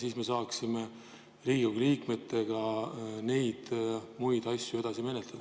Pärast seda saaksime Riigikogu liikmetega neid muid asju edasi menetleda.